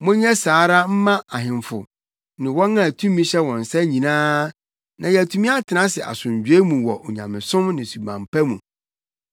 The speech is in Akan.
monyɛ saa ara mma ahemfo ne wɔn a tumi hyɛ wɔn nsa nyinaa na yɛatumi atena ase asomdwoe mu wɔ onyamesom ne suban pa mu.